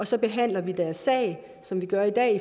så behandler vi deres sag som vi gør i dag